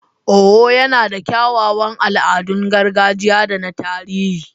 Owo yana da kyawawan al'adun gargajiya da na tarihi.